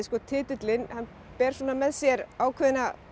titillinn hann ber með sér ákveðna